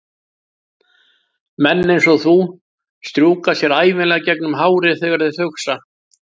Menn einsog þú strjúka sér ævinlega gegnum hárið þegar þeir hugsa.